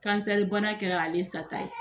Kansɛribana kɛra ale sata ye